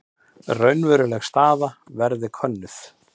Raunveruleg staða verði könnuð